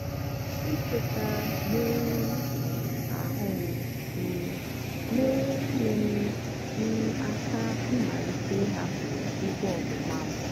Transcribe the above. ịkweta mmerụ um ahụ m um mere nyeere m m aka ịmalite ịhapụ ikpe ọmụma m.